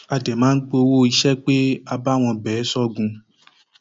a dẹ máa gbowó iṣẹ pé a bá wọn bẹ ẹ sọgun